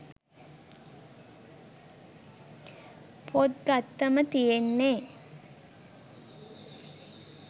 පොත් ගත්තම තියෙන්නේ